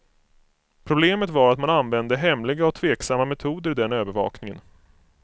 Problemet var att man använde hemliga och tveksamma metoder i den övervakningen.